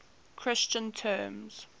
christian terms